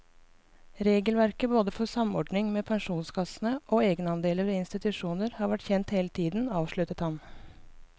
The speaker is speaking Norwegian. Regelverket både for samordning med pensjonskassene og egenandeler ved institusjoner har vært kjent hele tiden, avsluttet han.